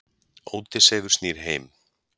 Ódysseifur snýr heim.